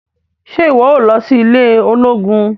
Ṣe iwọ óò lọ sí ilé olóògùn?